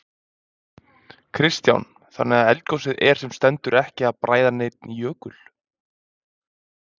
Kristján: Þannig að eldgosið er sem stendur ekki að bræða neinn jökul?